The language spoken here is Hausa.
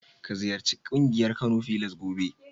Ka ziyarci ƙungiyar Kano filas gobe.